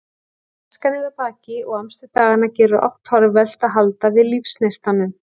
Æskan er að baki og amstur daganna gerir oft torvelt að halda við lífsneistanum.